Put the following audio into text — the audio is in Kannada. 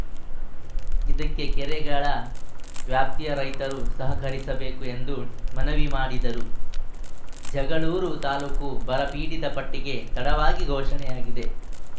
ಇದಕ್ಕೆ ಕೆರೆಗಳ ವ್ಯಾಪ್ತಿಯ ರೈತರು ಸಹಕರಿಸಬೇಕು ಎಂದು ಮನವಿ ಮಾಡಿದರು ಜಗಳೂರು ತಾಲೂಕು ಬರಪಿಡಿತ ಪಟ್ಟಿಗೆ ತಡವಾಗಿ ಘೋಷಣೆಯಾಗಿದೆ